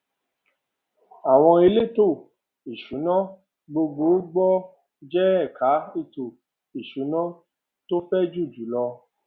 àwọn elétò ìsúná gbogbo gbòò je ẹka ètò ìsúná tó fẹjù jùlọ